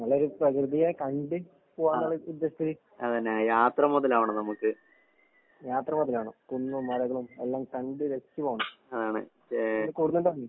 നല്ലൊരു പ്രകൃതിയെ കണ്ട് പൂവാന്നുള്ള ഉദ്ദേശത്തില്. യാത്ര മൊതലാകണം. കുന്നും മലകളും എല്ലാം കണ്ട് രസിച്ച് പോണം. എന്ത് കൂടുന്നുണ്ടോ നീ?